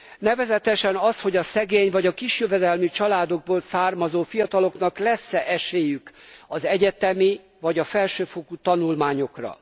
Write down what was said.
Nevezetesen az, hogy a szegény vagy a kis jövedelmű családokból származó fiataloknak lesz e esélyük az egyetemi vagy a felsőfokú tanulmányokra.